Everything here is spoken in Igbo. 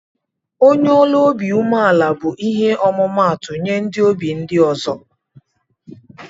onye ọlụ ọbi umela bu ihe ọmụmatu nye ndi ozi ndi ọzọ.